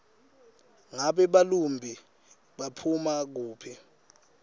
ngabe belumbi baphuma kuphi